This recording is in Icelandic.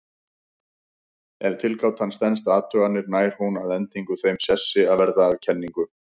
Ef tilgátan stenst athuganir nær hún að endingu þeim sessi að verða að kenningu.